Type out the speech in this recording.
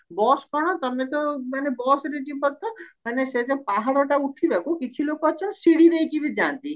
bus କଣ ତମେ ତ ମାନେ busରେ ଯିବ ତ ମାନେ ସେଇ ଯୋଉ ପାହାଡ ଟା ଉଠିବାକୁ କିଛି ଲୋକ ଅଛନ୍ତି ସିଡି ଦେଇକି ବି ଯାଆନ୍ତି